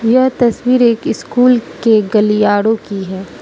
यह तस्वीर एक स्कूल के गलियारो की है।